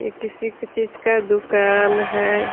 ये किसी के चीज का दूकान है ।